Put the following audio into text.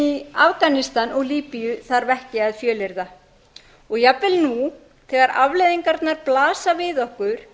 í afganistan og líbíu þarf ekki að fjölyrða og jafnvel nú þegar afleiðingarnar blasa við